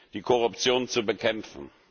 die Korruption zu bekämpfen.